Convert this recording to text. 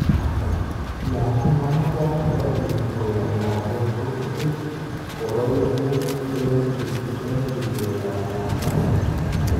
Yaan imanachat korotik koyob lakwet kochutu koroikuuk eng' sikeet ab lakwet